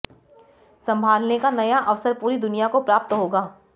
संभालने का नया अवसर पूरी दुनिया को प्राप्त होगा